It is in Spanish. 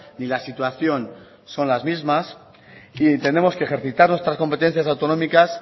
ni la situación son las mismas y entendemos que ejercitar nuestras competencias autonómicas